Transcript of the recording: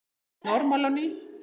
Þú ert normal á ný.